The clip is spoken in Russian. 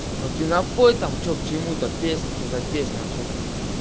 ну ты напой там что к чему там песня что за песня вообще там